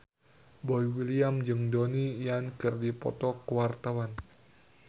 Boy William jeung Donnie Yan keur dipoto ku wartawan